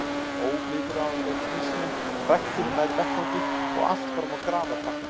Óviðráðanleg hnýsnin hrakti mig nær vettvangi og allt fram á grafarbakkann.